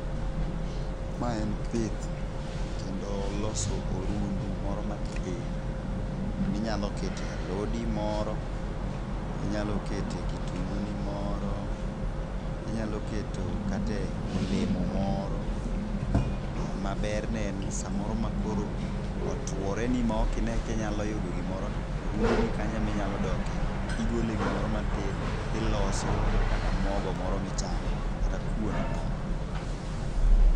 Mae en pith, kendo loso orundu moro matin, minyalo kete alodi moro, inyalo kete kitunguu ni moro, inyalo keto kate olemo moro, Maberne en ni samoro ma koro otworeni ma ok ine kinyalo yudo gimoro, to orunduni kanyo ema inyalo doke. Igole gimoro matin, iloso godo kata mogo moro michamo, kata kuon moro.